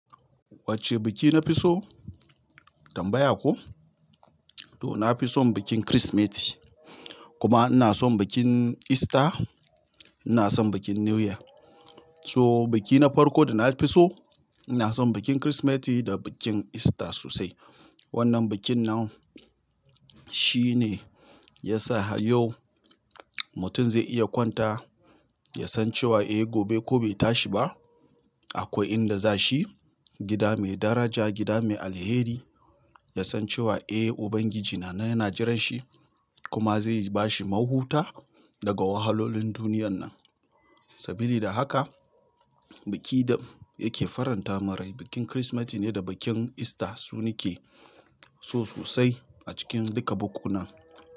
Wacce biki na fi so? Tambaya ko? To na fi son bikin Kirsimeti kuma ina son bikin Ista, ina son bikin New Year. So biki na farko da na fi so ina son bikin Kirsimeti da bikin Ista sosai. Wannan bikin nan shine ya sa har yau mutum zai iya kwanta ya san cewa eh gobe ko bai tashi ba akwai inda za shi, gida mai daraja, gida mai alheri. Ya san cewa eh Ubangiji na nan yana jiran shi kuma zai ba shi mahuta daga wahalolin duniyan nan. Sabili da haka biki da yake faranta man rai bikin Kirsimeti ne da bikin Ista su ni ke so sosai a cikin duka bukkunan.